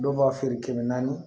Dɔw b'a feere kɛmɛ naani